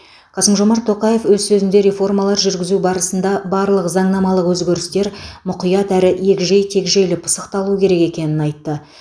қасым жомарт тоқаев өз сөзінде реформалар жүргізу барысында барлық заңнамалық өзгерістер мұқият әрі егжей тегжейлі пысықталуы керек екенін айтты